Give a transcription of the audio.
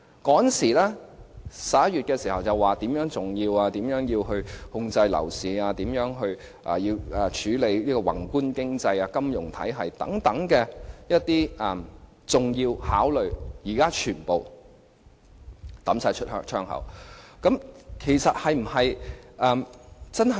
政府在11月時說《條例草案》很重要，因為可以控制樓市，處理宏觀經濟、金融體系等，這些重要考量是否如今全部拋諸腦後？